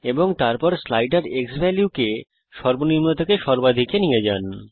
এবং তারপর slider x value কে সর্বনিম্ন থেকে সর্বাধিক এ নিয়ে যান